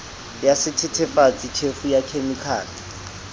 ya sethethefatsi tjhefu ya khemikhale